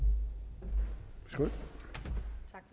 så